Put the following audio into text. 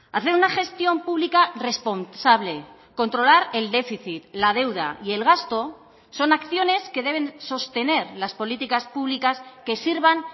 hacer una gestión pública responsable controlar el déficit la deuda y el gasto son acciones que deben sostener las políticas públicas que sirvan